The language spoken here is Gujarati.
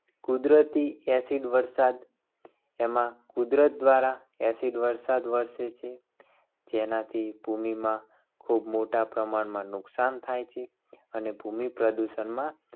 કુદરતી acid વર્ષા એમાં કુદરત દ્વારા acid વર્ષા વર્ષે છે. જેનાથી ભૂમિમાં ખૂબ મોટા પ્રમાણમાં નુકસાન થાય છે. અને ભૂમિ પ્રદૂષણમાં